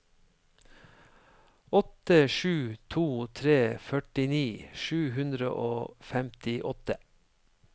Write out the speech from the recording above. åtte sju to tre førtini sju hundre og femtiåtte